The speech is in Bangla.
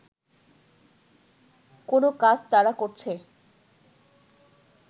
কোনো কাজ তারা করছে